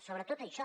sobretot això